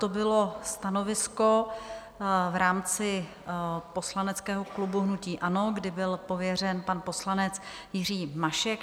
To bylo stanovisko v rámci poslaneckého klubu hnutí ANO, kdy byl pověřen pan poslanec Jiří Mašek.